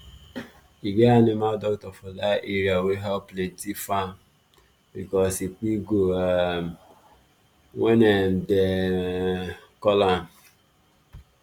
e get animal doctor for that area wey help plenty farm because say e quick go um when um dem um call am